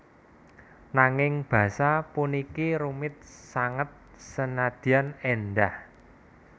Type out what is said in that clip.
Nanging basa puniki rumit sanget senadyan éndah